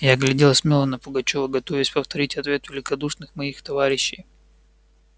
я глядел смело на пугачёва готовясь повторить ответ великодушных моих товарищей